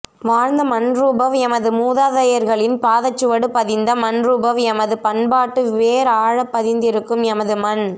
வாழ்ந்த மண்ரூபவ் எமது மூதாதையர்களின் பாதச்சுவடு பதிந்த மண்ரூபவ் எமது பண்பாட்டு வேர் ஆழப் பதிந்திருக்கும் எமது மண்